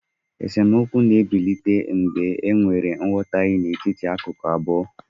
esemokwu na-ebilite mgbe enwere nghọtahie n'etiti akụkụ abụọ